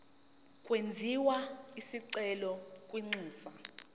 kwenziwe isicelo kwinxusa